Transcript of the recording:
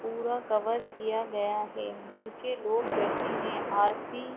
पूरा कवर किया गया है नीचे लोग बैठे है और तीन --